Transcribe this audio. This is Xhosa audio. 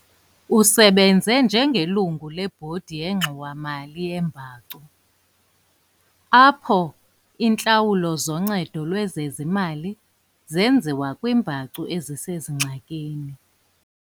Usebenze njengelungu lebhodi yeNgxowa-mali yeembacu, apho iintlawulo zoncedo lwezezimali zenziwa kwiimbacu ezisengxakini.